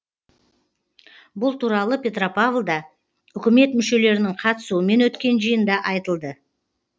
бұл туралы петропавлда үкімет мүшелерінің қатысуымен өткен жиында айтылды